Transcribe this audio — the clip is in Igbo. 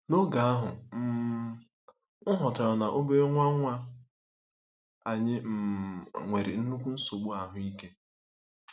N'oge ahụ, um m ghọtara na obere nwa nwa anyị um nwere nnukwu nsogbu ahụ́ ike.